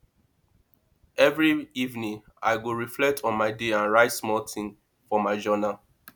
every evening i go reflect on my day and write small things for my journal